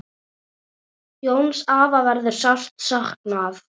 Jóns afa verður sárt saknað.